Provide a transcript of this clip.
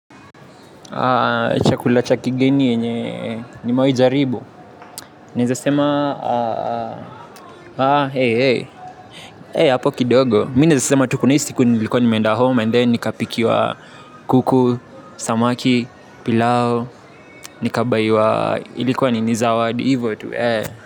Chakula cha kigeni yenye nimewai jaribu. Naeza sema hapo kidogo naez sema kuna hii siku nilikuwa nimeenda home And then nikapikiwa kuku Samaki Pilau. Nikabaiwa ilikuwa ninizawadi. Hivo tu.